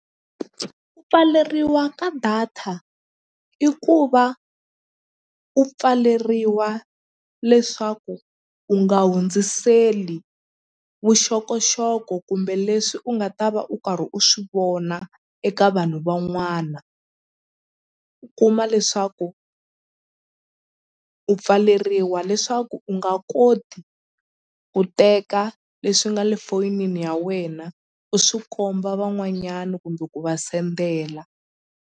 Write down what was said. Ku pfaleriwa ka data i ku va u pfaleriwa leswaku u nga hundziseli vuxokoxoko kumbe leswi u nga ta va u karhi u swivona eka vanhu van'wana u kuma leswaku u pfaleriwa leswaku u nga koti ku teka leswi nga le fonini ya wena u swi komba van'wanyana kumbe ku va sendela.